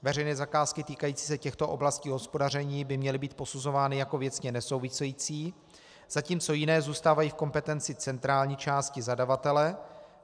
Veřejné zakázky týkající se těchto oblastí hospodaření by měly být posuzovány jako věcně nesouvisející, zatímco jiné zůstávají v kompetenci centrální části zadavatele.